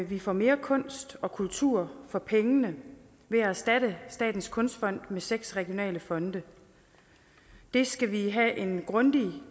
vi får mere kunst og kultur for pengene ved at erstatte statens kunstfond med seks regionale fonde det skal vi have en grundig